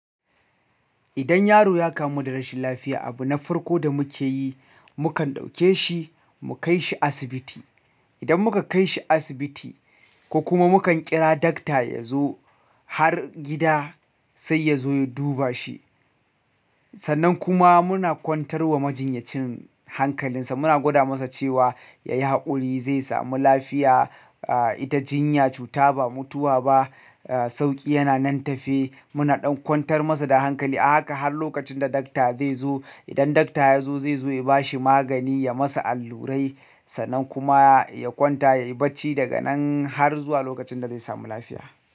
Idan yaro ya kamu da rashin lafiya, abu na farko da muke yi, mukan ɗauke shi mu kai shi asibiti. Idan muka kaishi asibiti ko kuma mukan ƙira dakta yazo har gida sai yazo ya duba shi sannan kuma muna kwantar wa majinyacin hankalinsa. Muna gwada masa cewa yayi haƙuri zai samu lafiya. Ita jinya cuta ba mutuwa ba. Sauƙi yana nan tafe. Muna ɗan kwantar masa da hankali. A haka har lokacin da dakta zai zo. Idan dakta ya zo zai zo ya bashi magani, ya masa allurai sannan kuma ya kwanta, ya yi bacci daga nan har zuwa lokacin da zai samu lafiya.